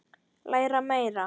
Læra meira.